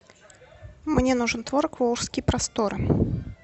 мне нужен творог волжские просторы